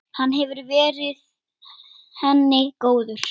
Hann hefur verið henni góður.